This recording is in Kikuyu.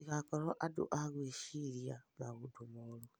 Mũtĩgakorwo andũ a gwĩcĩrerĩria maũndũ morũ